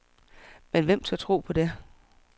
Men hvem tør tro på det?